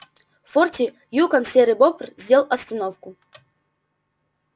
в форте юкон серый бобр сделал остановку